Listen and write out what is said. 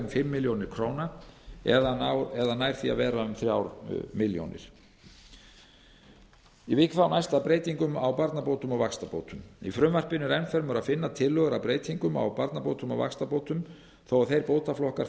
fimm milljónir króna eða nær því að vera um þrjár milljónir króna ég vík þá næst að breytingum á barnabótum og vaxtabótum í frumvarpinu er enn fremur að finna tillögur að breytingum á barnabótum og vaxtabótum þó að þeir bótaflokkar